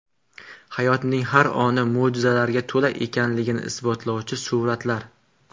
Hayotning har oni mo‘jizalarga to‘la ekanligini isbotlovchi suratlar .